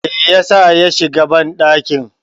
me yasa ya shiga bandakin?